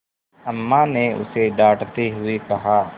अम्मा ने उसे डाँटते हुए कहा